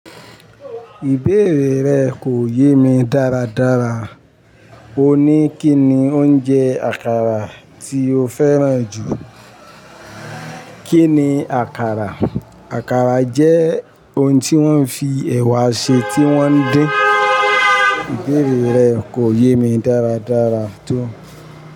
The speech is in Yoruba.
Ìbéèrè rẹ̀ kò yé mi dáradára. Ó ní kí ni oúnjẹ àkàrà tí ó fẹ́ràn jù. Kí ni àkàrà? Àkàrà jẹ́ oun tí wọ́n fi ẹ̀wà ṣe tí wọ́n dín. Ìbéèrè rẹ̀ kò yé mi dáradára tó.